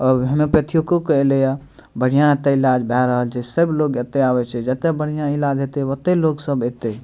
और हेमियोपेथीयों के ऐले ये बढ़िया एता ईलाज भाए रहल छै सब लोग एते आवे छै जेते बढ़िया ईलाज हेते ओते लोग सब एते --